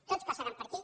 tots passaran per aquí